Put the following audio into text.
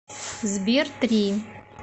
сбер три